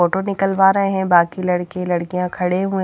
Photo निकलवा रहे हैं बाकी लड़के लड़कियां खड़े हु हैं।